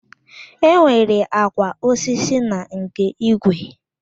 Enwere àkwà osisi na nke igwe